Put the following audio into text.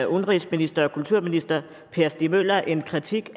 udenrigsminister og kulturminister per stig møller en kritik